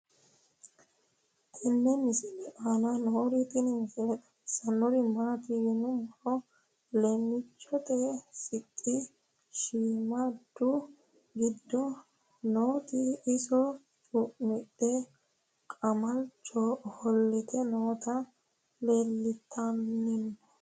tenne misile aana noorina tini misile xawissannori maati yinummoro leemichchotte sixxi shiimmadu giddo nootti iso cu'midhe qamalicho offolitte nootti leelittanno